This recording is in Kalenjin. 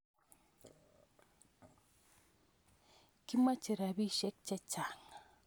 Kimoche ropisyek che chang'